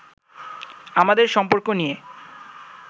আমাদের সম্পর্ক নিয়ে